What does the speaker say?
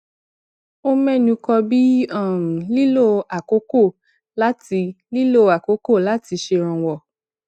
ó ménu kan bí um lílo àkókò láti lílo àkókò láti ṣèrànwọ